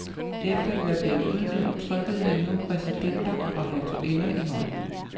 Efter at være blevet udnævnt trykkede han nu præsidenter og hertuginder i hånden.